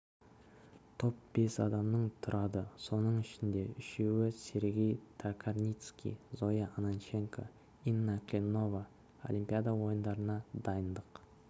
топ бес адамнан тұрады соның ішінде үшеуі сергей токарницкий зоя ананченко инна клинова олимпиада ойындарына дайындық